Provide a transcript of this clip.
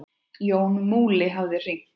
Jón Múli hafði hringt.